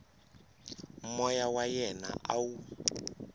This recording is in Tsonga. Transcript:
moya wa yena a wu